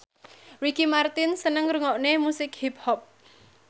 Ricky Martin seneng ngrungokne musik hip hop